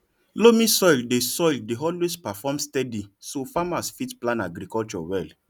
loamy soil dey soil dey always perform steady so farmers fit plan agriculture well